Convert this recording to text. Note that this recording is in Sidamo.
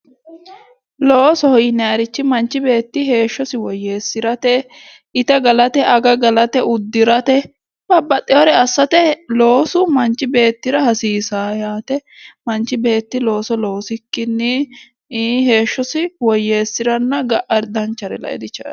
Loosoho yinnanirihi manchi beetti heeshshosi woyyeesirate ite gallate age gallate uddirate babbaxewore assate loosu manchi beettira hasiisawo yaate ,manchi beetti looso loosikkinni heeshshosi woyyeesiranna ga"a danchare lae didandaano.